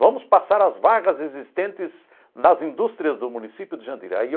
Vamos passar as vagas existentes nas indústrias do município de Jandira aí.